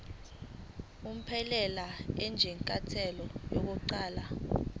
unomphela njengenyathelo lokuqala